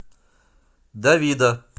давида